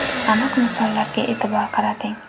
Aniq misollarga e’tibor qarating.